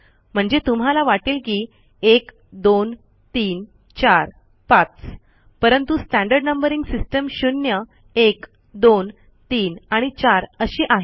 म्हणजे तुम्हाला वाटेल की एक दोन तीन चार पाच परंतु स्टँडर्ड नंबरिंग सिस्टम शून्य एक दोन तीन आणि चार अशी आहे